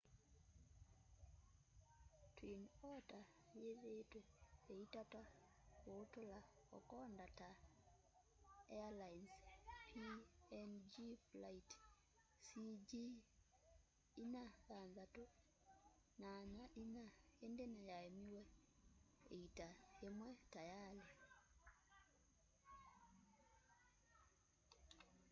twin otter ĩthĩĩtwe ĩitata kũtũũla kokoda ta airlines png flight cg4684 ĩndĩ nĩyaemiwe ĩita ĩmwe tayalĩ